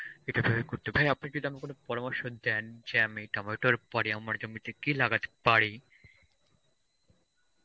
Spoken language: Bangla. এটা ভেবে করতে, ভাই আপনি কি যেন কোন পরামর্শ দেন যে আমি টমেটোর পরে আমার জমিতে কি লাগাতে পারি.